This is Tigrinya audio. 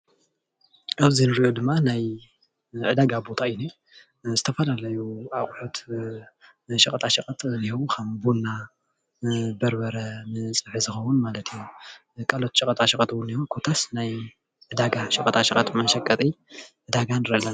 ኣብዚ እንሪኦ ድማ ናይ ዕዳጋ ቦታ እዩ፡፡ ዝተፈላለዩ ኣቁሑት ንሸቀጣሸቀጥ እዮም ከም ቡና፣ በርበረ፣ ንፀብሒ ዝከውን ማለት እዩ፡፡ ካልኦት ሸቀጣሸቀጥ እኒሂው ኮታስ ናይ ዘርኢ እዩ ኮታስ ናይ ዕዳጋ ሸቀጣ ሸቀጥ መሸቀጢ ንርኢ ኣለና፡፡